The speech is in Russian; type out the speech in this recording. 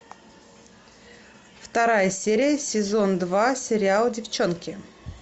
вторая серия сезон два сериал девчонки